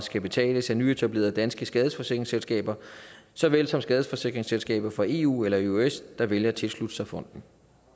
skal betales af nyetablerede danske skadesforsikringsselskaber så vel som skadesforsikringsselskaber fra eu eller eøs der vælger at tilslutte sig fonden